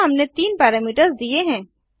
अतः हमने तीन पैरामीटर्स दिए हैं